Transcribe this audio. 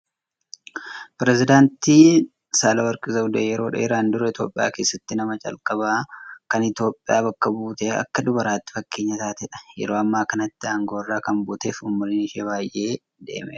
Pirezedaantiin Saahilewarq Zawudee yeroo dheeraan dura Itoophiyaa keessatti nama calqabaa kan Itoophiyaa bakka buute akka dubaraatti fakkeenya taatedha. Yeroo ammaa kanatti aangoo irraa kan buutee fi umriin ishee baay'ee deemeera.